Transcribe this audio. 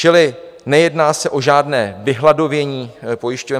Čili nejedná se o žádné vyhladovění pojišťoven.